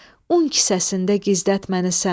Un kisəsində gizlət məni sən.